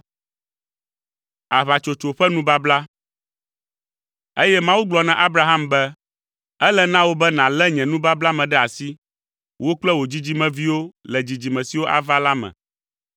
Eye Mawu gblɔ na Abraham be, “Ele na wò be nàlé nye nubabla me ɖe asi, wò kple wò dzidzimeviwo le dzidzime siwo ava la me.